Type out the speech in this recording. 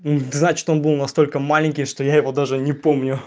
значит он был настолько маленький что я его даже не помню